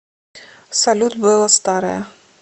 салют белла старая